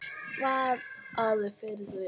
Svaraðu fyrir þig!